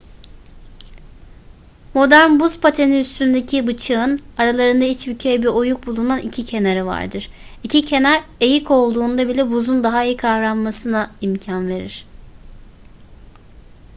modern buz pateni üstündeki bıçağın aralarında içbükey bir oyuk bulunan iki kenarı vardır. i̇ki kenar eğik olduğunda bile buzun daha iyi kavranmasına imkan verir